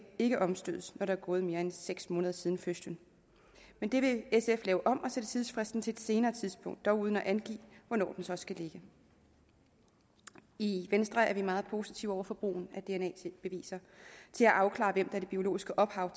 ikke omstødes når der er gået mere end seks måneder siden fødslen men det vil sf lave om på og sætte tidsfristen til et senere tidspunkt dog uden at angive hvornår den så skal ligge i venstre er vi meget positive over for brugen af dna beviser til at afklare hvem der det biologiske ophav